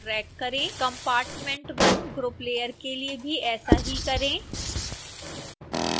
compartment1 group layer के लिए भी ऐसा ही करें